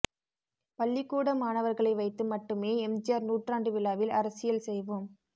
பள்ளிகூட மாணவர்களை வைத்து மட்டுமே எம்ஜிஆர் நூற்றாண்டு விழாவில் அரசியல் செய்வோம்